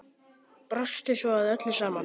Brostu svo að öllu saman.